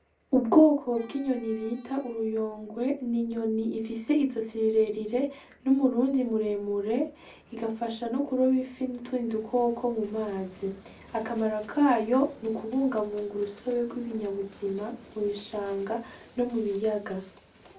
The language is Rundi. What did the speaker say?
Ubwoko bw'inyoni bita uruyongwe, ni inyoni ifise izosi rirerire n'umurundi muremure igafasha no kuroba ifi nutundi dukoko mu mazi, akamaro kayo n'ukubungabunga urusobe rw'ibinyabuzima mu bishanga no mu biyaga.